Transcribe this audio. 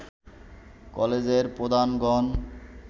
কলেজের প্রধানগণ